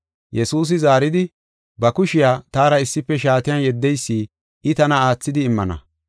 Yesuusi zaaridi, “Ba kushiya taara issife shaatiyan yeddeysi I tana aathidi immana.